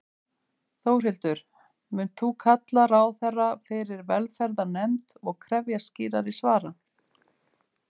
Þórhildur: Munt þú kalla ráðherra fyrir velferðarnefnd og krefjast skýrari svara?